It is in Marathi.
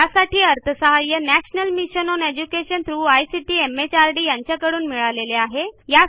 यासाठी अर्थसहाय्य national mission on education through ICT यांच्याकडून अर्थसहाय्य मिळालेले आहे